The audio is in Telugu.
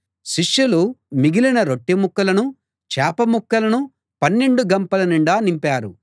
శిష్యులు మిగిలిన రొట్టె ముక్కలను చేప ముక్కలను పన్నెండు గంపల నిండా నింపారు